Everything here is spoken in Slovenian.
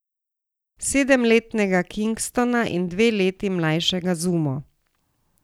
Sedemletnega Kingstona in dve leti mlajšega Zumo.